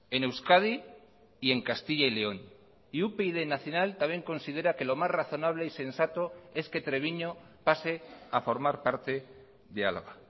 en euskadi y en castilla y león y upyd nacional también considera que lo más razonable y sensato es que treviño pase a formar parte de álava